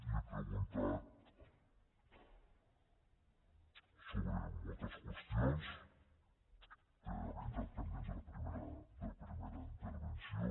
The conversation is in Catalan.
li he preguntat sobre moltes qüestions que havien quedat pendents a la primera intervenció